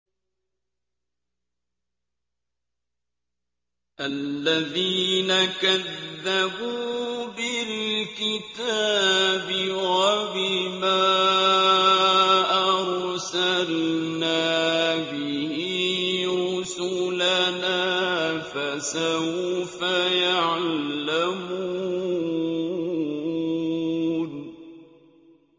الَّذِينَ كَذَّبُوا بِالْكِتَابِ وَبِمَا أَرْسَلْنَا بِهِ رُسُلَنَا ۖ فَسَوْفَ يَعْلَمُونَ